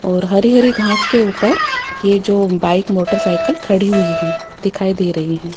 और हरी हरी घास के ऊपर यह जो बाइक मोटरसाइकिल खड़ी हुई है दिखाई दे रही है।